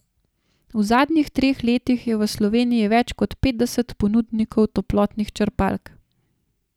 V zadnjih treh letih je v Sloveniji več kot petdeset ponudnikov toplotnih črpalk.